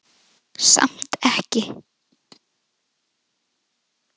Samt ekki.